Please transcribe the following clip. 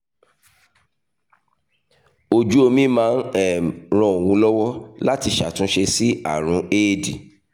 ojú omi máa ń um ran òun lọ́wọ́ láti ṣàtúnṣe sí àrùn éèdì